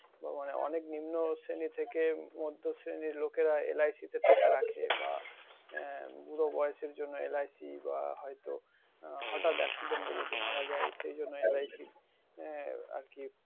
অনেক নিম্ন থেকে মধ্য শ্রেণীর লোকেরা LIC তে টাকা রাখে। বা আহ বুড়ো বয়সের এর জন্য LIC বা হয়তো হঠাৎ accident এ যদি মারা যায় সেজন্য LIC আহ আরকি,